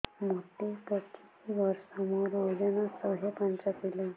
ମୋତେ ପଚିଶି ବର୍ଷ ମୋର ଓଜନ ଶହେ ପାଞ୍ଚ କିଲୋ